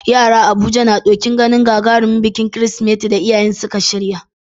Yara a Abuja na ɗokin ganin gagarumin bikin Kirsimeti da iyayensu suka shirya.